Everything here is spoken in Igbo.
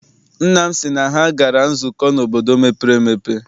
Nna m sị na ha gara nzukọ n'obodo mepere emepe.